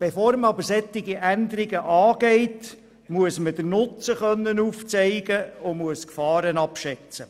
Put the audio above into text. Bevor man aber solche Änderungen angeht, muss man den Nutzen aufzeigen können und die Gefahren abschätzen.